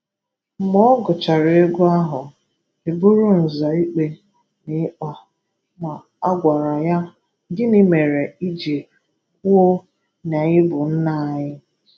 Mgbe ọ gùchàrà egwu ahụ, e bụ́rụ Nza ikpe n’ịkpa, ma a gwàrà ya, “Gịnị mere i ji kwuo na ị bụ nna anyị?”